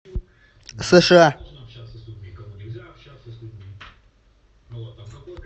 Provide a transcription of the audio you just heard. сша